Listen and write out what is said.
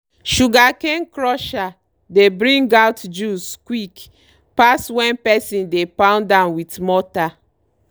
sugarcane crusher dey bring out juice quick pass when person dey pound am with motter.